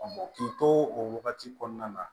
k'i to o wagati kɔnɔna na